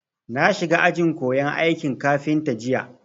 Na shiga ajin koyan aikin kafinta jiya